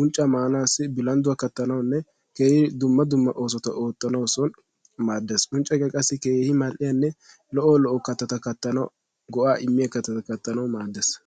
unccca maanawu, bilandduwa maanawunne keehi nso giddo go'aa immiyaanne unccaykka qassi so katatta katanawu go'aa immees.